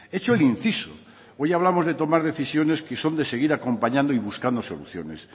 hecho el inciso hoy hablamos de tomar decisiones que son de seguir acompañando y buscando soluciones